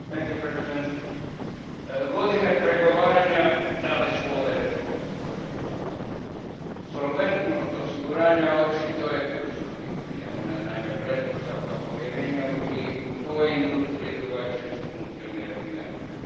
Gospodine predsjedniče, godine pregovaranja dale su ovaj rezultat Solventnost osiguranja očito je ključno pitanje. Ono je naime pretpostavka povjerenja i u toj industriji drugačije se funkcionirati ne može.